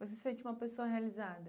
Você sente uma pessoa realizada?